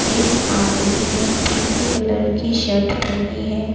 एक आदमी ने पिंक कलर की शर्ट पहनी है।